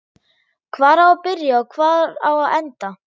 Hvar á að byrja og hvar á að enda?